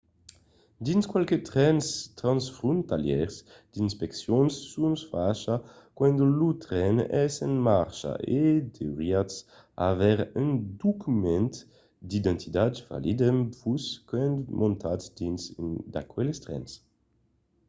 dins qualques trens transfrontalièrs d'inspeccions son fachas quand lo tren es en marcha e deuriatz aver un document d'identitat valid amb vos quand montatz dins un d’aqueles trens